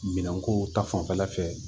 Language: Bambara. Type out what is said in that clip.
Minɛn kow ta fanfɛla fɛ